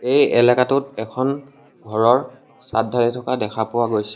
এই এলেকাটোত এখন ঘৰৰ চাদ ঢালি থকা দেখা পোৱা গৈছে।